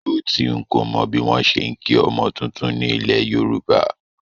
Ótì, n kò mọ bí wọ́n ṣe ń kí ọmọ tuntun ni ilẹ̀ Yorùbá